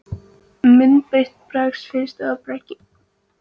Myndbreytt berg finnst ekki í berggrunni